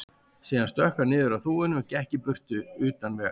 Síðan stökk hann niður af þúfunni og gekk í burtu, utan vegar.